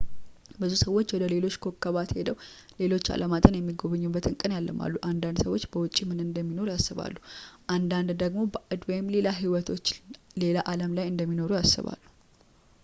ብዙ ሰዎች ውደ ሌሎች ኮከባት ሄደው ሌሎች አለማትን የሚጎበኙበትን ቀን ያልማሉ አንዳንድ ሰዎች በውጪ ምን እንደሚኖር ያስባሉ አንዳንድ ደግሞ ባዕድ ወይም ሌላ ህይወቶች ሌላ አለም ላይ እንደሚኖሩ ያስባሉ